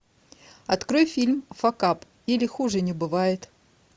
открой фильм факап или хуже не бывает